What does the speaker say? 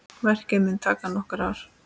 Verkið mun taka nokkur ár.